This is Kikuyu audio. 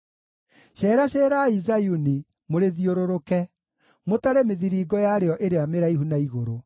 Ceeraceerai Zayuni, mũrĩthiũrũrũke, mũtare mĩthiringo yarĩo ĩrĩa mĩraihu na igũrũ,